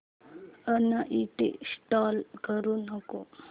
uninstall करू नको